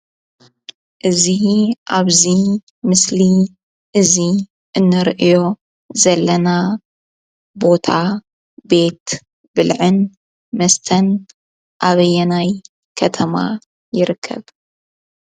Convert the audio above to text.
እዚ ኣብዚ ምስሊ እዚ እንሪኦ ዘለና ቦታ ቤት ብልዕን መስተን ኣበየናይ ከተማ ይርከብ?